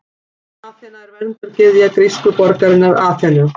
Aþena er verndargyðja grísku borgarinnar Aþenu.